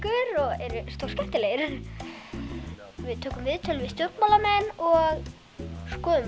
eru stórskemmtilegir við tökum viðtöl við stjórnmálamenn og skoðum